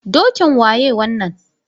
Dokin waye wannan?